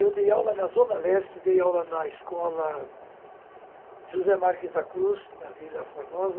Eu dei aula na Zona Leste, dei aula na escola José Marques da Cruz, na Vila Formosa.